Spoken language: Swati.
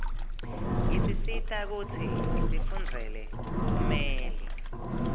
isisita kutsi sifundzele bumeli